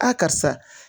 A karisa